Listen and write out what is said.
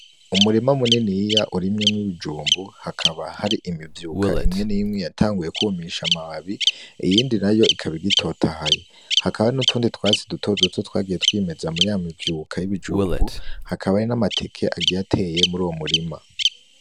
Umurima muniniya urimyemwo ibijumbu, hakaba hari imivyuka imwe minini yatanguye kwumisha amababi iyindi nayo ikaba igitotahaye, hakabaho n'utundi twatsi dutoduto twagiye twimeza muri ya mivyuka y'ibijumbu, haba hari n'amateke agiye ateye muri uwo murima.